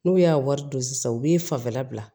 N'u y'a wari don sisan u b'i fanfɛla bila